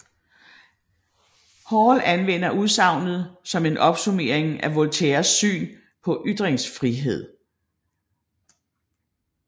Hall anvender udsagnet som en opsummering af Voltaires syn på ytringsfrihed